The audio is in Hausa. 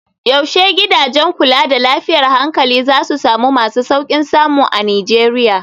Yaushe gidajen kula da lafiyar hankali za su zama masu sauƙin samu a Nijeriya?